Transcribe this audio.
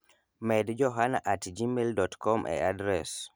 med Johana at gmail dot kom e adres